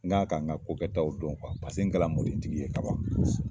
N' ka kan n ka ko kɛtaw dɔn kuwa paseke kɛla mɔden tigi ye kaban kosɛbɛ